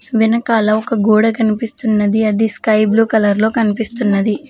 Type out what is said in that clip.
వెనకాల ఒక గోడ కనిపిస్తున్నది అది స్కై బ్లూ కలర్ లో కనిపిస్తున్నది.